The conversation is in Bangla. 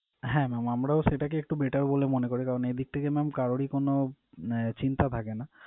হ্যাঁ mam আমরাও সেটাকে একটু better বলে মনে করি। কারণ এইদিক থেকে mam কারোরই কোন আহ চিন্তা থাকে না